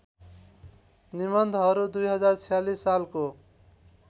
निबन्धहरू २०४६ सालको